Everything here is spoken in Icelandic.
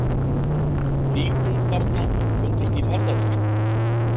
Lík ungbarna fundust í ferðatöskum